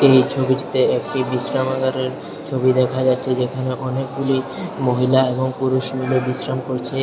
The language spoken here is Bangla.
এই ছবিটিতে একটি বিশ্রামাগারের ছবি দেখা যাচ্ছে যেখানে অনেকগুলি মহিলা এবং পুরুষ মিলে বিশ্রাম করছে।